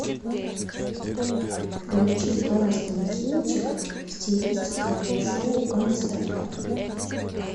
включи классный кинчик в стилистике шоу концерта